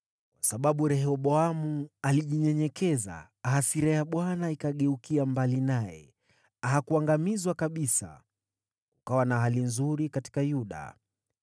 Kwa sababu Rehoboamu alijinyenyekeza, hasira ya Bwana ikageukia mbali naye, hakuangamizwa kabisa. Kukawa na hali nzuri katika Yuda.